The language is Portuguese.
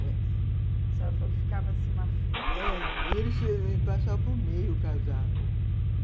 Você falou que ficava, assim, uma fila... É, e eles passavam por meio, casar.